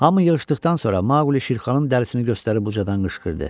Hamı yığışdıqdan sonra Maquli Şirxanın dərisini göstərib ucadan qışqırdı.